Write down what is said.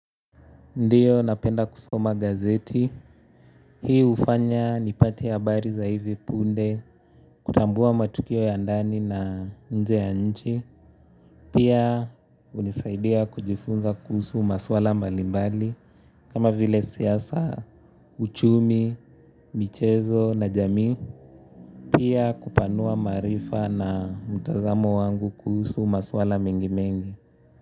Ndio napenda kusoma gazeti, hii hufanya nipate habari za hivi punde, kutambua matukio ya ndani na nje ya nchi. Pia hunisaidia kujifunza kuhusu maswala mbalimbali, kama vile siasa, uchumi, michezo na jamii. Pia kupanua maarifa na mtazamo wangu kuhusu maswala mengimengi.